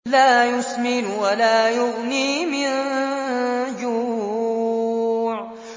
لَّا يُسْمِنُ وَلَا يُغْنِي مِن جُوعٍ